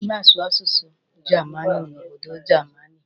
A na-asụ asụsụ jamanụ n'obodo Jamini.